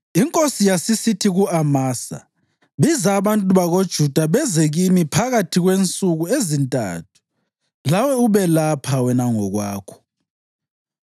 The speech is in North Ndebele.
Inkosi yasisithi ku-Amasa, “Biza abantu bakoJuda beze kimi phakathi kwensuku ezintathu, lawe ube lapha wena ngokwakho.”